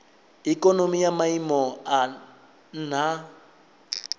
ikonomi ya maiimo a nha